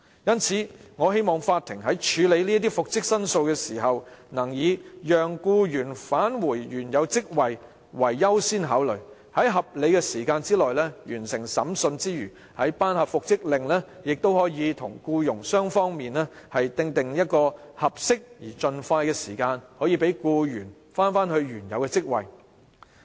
因此，我希望法庭在處理復職申訴時，能以讓僱員返回原有職位為優先考慮，除了在合理的時間內完成審訊，作出復職命令時亦應與僱傭雙方訂定合適時間安排，讓僱員盡快返回原職。